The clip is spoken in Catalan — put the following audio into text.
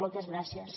moltes gràcies